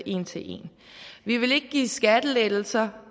en til en vi ville ikke give skattelettelser